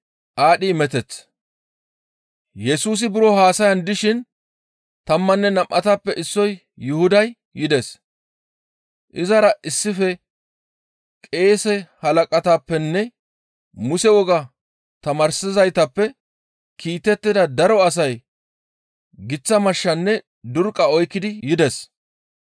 Yesusi buro haasayan dishin tammanne nam7atappe issoy Yuhuday yides. Izara issife qeese halaqatappenne Muse wogaa tamaarsizaytappe kiitettida daro asay giththa mashshanne durqqa oykkidi yides.